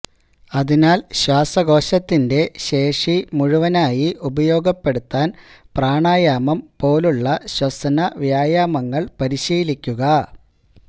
അതിനാൽ ശ്വാസകോശത്തിന്റെ ശേഷി മുഴുവനായി ഉപയോഗപ്പെടുത്താൻ പ്രാണായാമം പോലുള്ള ശ്വസന വ്യായാമങ്ങൾ പരിശീലിക്കുക